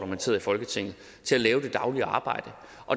man sidder i folketinget til at lave det daglige arbejde